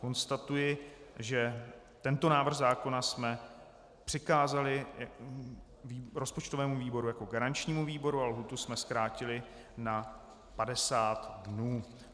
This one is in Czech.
Konstatuji, že tento návrh zákona jsme přikázali rozpočtovému výboru jako garančnímu výboru a lhůtu jsme zkrátili na 50 dnů.